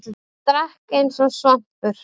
Hann drakk eins og svampur.